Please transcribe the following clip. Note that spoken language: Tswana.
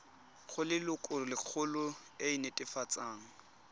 go lelokolegolo e e netefatsang